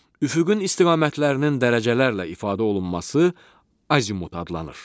Üfüqün istiqamətlərinin dərəcələrlə ifadə olunması Azimut adlanır.